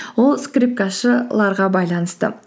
ол скрипкашыларға байланысты